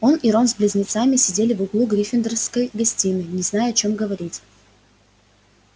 он и рон с близнецами сидели в углу гриффиндорской гостиной не зная о чем говорить